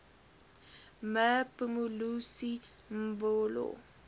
me phumzile mlambo